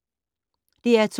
DR2